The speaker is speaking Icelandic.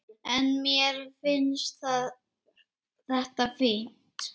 En mér finnst þetta fínt.